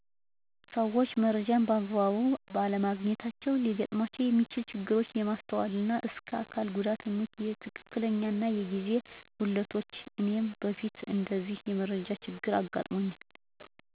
ሰዎች መረጃን በአግባቡ ባለማግኘታቸው ሊገጥሙት የሚችሉ ችግሮች የማስተዋል እና እስከ አካል ጉዳቶች፣ የትክክለኛነት እና የጊዜ ጉዳት ናቸው። እኔም በፊት እንደዚህ የመረጃ ችግር አጋጥሞኛል።